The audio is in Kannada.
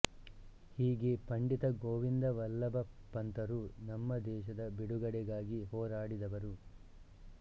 ಹೀಗೆ ಪಂಡಿತ ಗೋವಿಂದ ವಲ್ಲಭ ಪಂತರು ನಮ್ಮ ದೇಶದ ಬಿಡುಗಡೆಗಾಗಿ ಹೋರಾಡಿದವರು